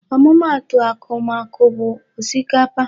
Ọmụma atụ akumaku a bụ osikapa.